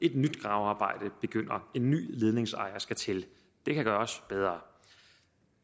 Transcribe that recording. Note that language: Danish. et nyt gravearbejde begynder en ny ledningsejer skal til det kan gøres bedre